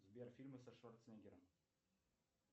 сбер фильмы со шварценеггером